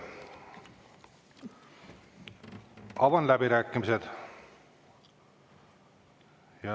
Avan läbirääkimised.